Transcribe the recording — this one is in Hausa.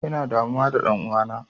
Ina damuwa da ɗan'uwana.